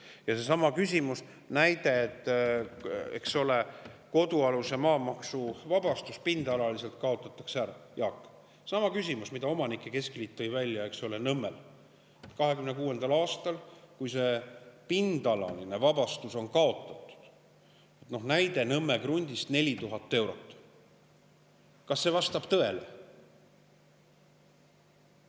Kas vastab tõele see näide, et kuna pindalaline kodualuse maa maksuvabastus kaotatakse ära, Jaak – seesama küsimus, mille omanike keskliit tõi välja –, siis 2026. aastal, kui see pindalaline vabastus on kaotatud, Nõmme krundi 4000 eurot?